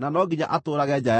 na no nginya atũũrage nja ya kambĩ.